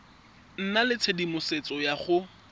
nna le tshedimosetso ya go